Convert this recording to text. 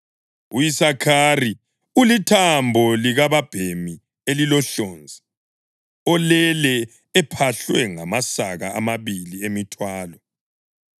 U-Isakhari ulithambo likababhemi elilohlonzi olele ephahlwe ngamasaka amabili emithwalo.